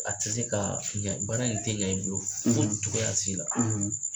A tɛ se ka ɲɛ baara in tɛ ɲɛ bolo foyi tɔgɔya sila